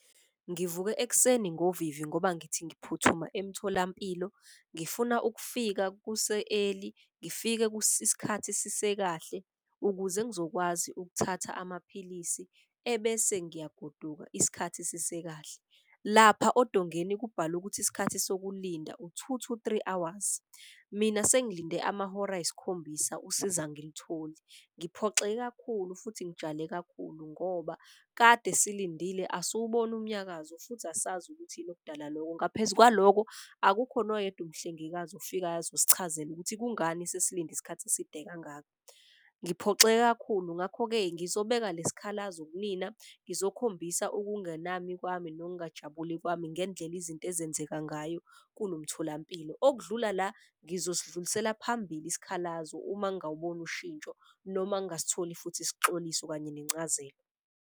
Ngivuke ekuseni ngovivi ngoba ngithi ngiphuthuma emtholampilo ngifuna ukufika kuse-early. Ngifike isikhathi sise kahle ukuze ngizokwazi ukuthatha amaphilisi ebese ngiyagoduka isikhathi sise kahle. Lapha odongeni kubhalwe ukuthi isikhathi sokulinda u-two to three hours, mina sengilinde amahora ayisikhombisa usizo angilitholi. Ngiphoxeke kakhulu futhi ngijale kakhulu ngoba kade silindile asiwuboni umnyakazo futhi asazi ukuthi yini okudala loko. Ngaphezu kwaloko akukho noyedwa umhlengikazi ufikayo azosichazela ukuthi kungani sesilinde isikhathi eside kangaka. Ngiphoxeke kakhulu ngakho-ke ngizobeka le sikhalazo kunina ngizokhombisa ukungenami kwami nokungajabuli kwami ngendlela izinto ezenzeka ngayo kulo mtholampilo. Okudlula la ngizosidlulisela phambili isikhalazo uma ngawuboni ushintsho noma ngasitholi futhi isixoliso kanye nencazelo.